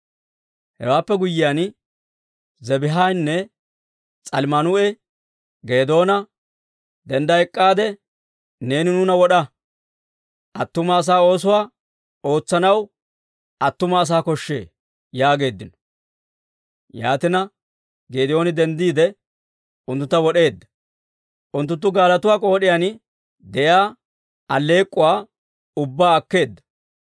Hewaappe guyyiyaan, Zebaahinne S'almmunaa'i Geedoona, «Dendda ek'k'aade, neeni nuuna wod'a. Attuma asaa oosuwaa ootsanaw attuma asaa koshshee» yaageeddino. Yaatina, Geedooni denddiide, unttuntta wod'eedda; unttunttu gaalatuwaa k'ood'iyaan de'iyaa alleek'k'uwaa ubbaa akkeedda.